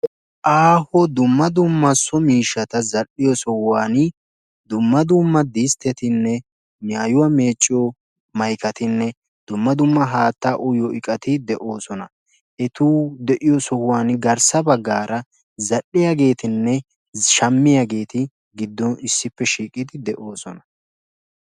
aaho dumma dumma so miishatta dal"iyo sohuwanni dumma dumma disteti saanetine harakka dumma dumma so miishati beettosona.